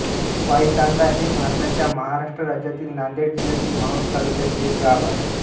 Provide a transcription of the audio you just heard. वाईतांडा हे भारताच्या महाराष्ट्र राज्यातील नांदेड जिल्ह्यातील माहूर तालुक्यातील एक गाव आहे